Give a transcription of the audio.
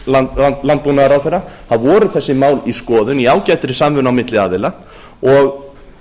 hæstvirtur landbúnaðarráðherra voru þessi mál í skoðun í ágætri samvinnu á milli aðila og